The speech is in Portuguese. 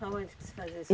Para onde que se fazia isso?